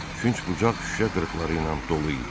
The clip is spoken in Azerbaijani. Künc bucaq şüşə qırıqları ilə dolu idi.